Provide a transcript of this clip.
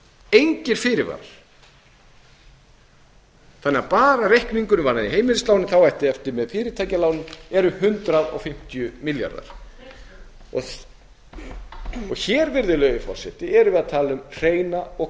engir fyrirvarar þannig að bara reikningurinn varðandi heimilislánin þá ætti eftir með fyrirtækjalánin eru hundrað fimmtíu milljarðar hér erum við að tala um hreina og